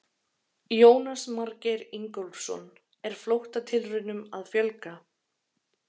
Jónas Margeir Ingólfsson: Er flóttatilraunum að fjölga?